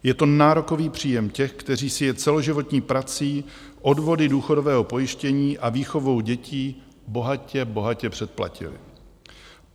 Je to nárokový příjem těch, kteří si je celoživotní prací, odvody důchodového pojištění a výchovou dětí bohatě, bohatě předplatili.